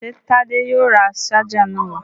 Ṣé Tádé yóò ra ṣáájà náà?